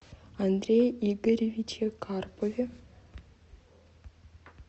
андрее игоревиче карпове